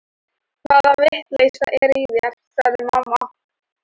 Hvaða vitleysa er í þér, sagði mamma.